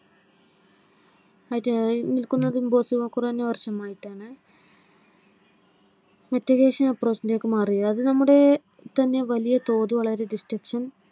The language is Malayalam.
നിൽക്കുന്നത് കുറഞ്ഞ വർഷമായിട്ടാണ്. metigation aproch ലേക്ക് മാറിയത് നമ്മുടെതന്നെ വലിയ തോത് വളരെ distruction